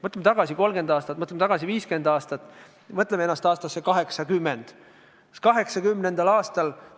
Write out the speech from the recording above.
Mõtleme tagasi 30 aasta tagusesse aega, mõtleme tagasi 50 aasta tagusesse aega, mõtleme ennast 1980. aastasse.